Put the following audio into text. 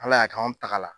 Ala y'a kɛ anw tagara